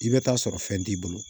I bɛ taa sɔrɔ fɛn t'i bolo